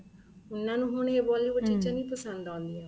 ਉਹਨਾ ਨੂੰ ਹੁਣ ਇਹ Bollywood ਚੀਜ਼ਾਂ ਨਹੀਂ ਪਸੰਦ ਆਉਦੀਆਂ